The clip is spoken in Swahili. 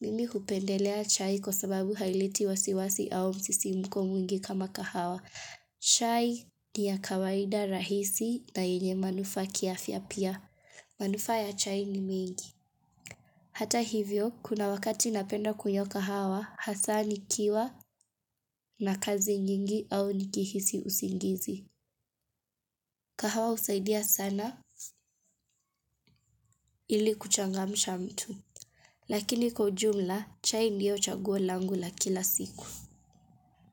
Mimi hupendelea chai kwa sababu haileti wasiwasi au msisimuko mwingi kama kahawa. Chai ni ya kawaida, rahisi na yenye manufaa kiafya pia. Manufaa ya chai ni mingi. Hata hivyo, kuna wakati napenda kunywa kahawa, hasa nikiwa na kazi nyingi au nikihisi usingizi. Kahawa husaidia sana ili kuchangamsha mtu. Lakini kwa ujumla, chai ndio chaguo langu la kila siku.